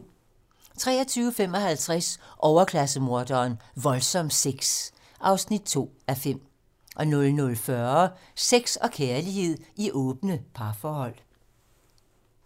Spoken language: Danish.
23:55: Overklasse-morderen: Voldsom sex (2:5) 00:40: Sex og kærlighed i åbne parforhold